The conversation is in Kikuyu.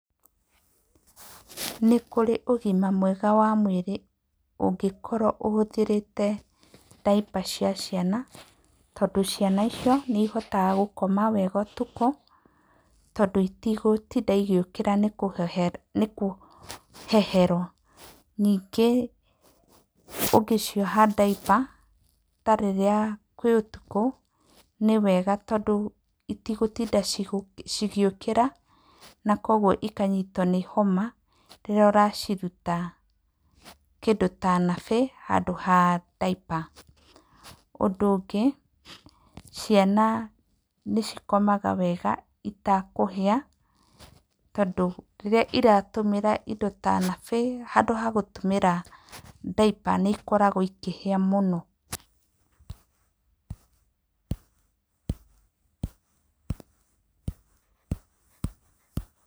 Nĩ kũrĩ ũgima mwega wa mwĩrĩ ũngĩkorwo ũhũthĩrĩte daiper cia ciana tondũ ciana icio nĩ ihotaga gũkoma wega ũtukũ tondũ itigũtinda igĩũkĩra nĩ kũheherwo. Ningĩ ũngĩcioha daiper ta rĩrĩa kwĩ ũtukũ nĩ wega tondũ itigũtinda cigĩũkĩra na kwoguo ikanyitwo nĩ homa rĩrĩa ũraciruta kĩndũ ta nappy handũ ha daiper. Ũndũ ũngĩ, ciana nĩ cikomaga wega itakũhĩa tondũ rĩrĩa iratũmĩra indo ta nappy handũ ha gũtũmĩra daiper nĩ ikoragwo ikĩhĩa mũno.